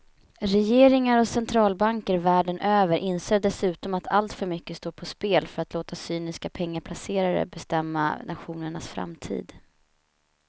Regeringar och centralbanker världen över inser dessutom att alltför mycket står på spel för att låta cyniska pengaplacerare bestämma nationernas framtid.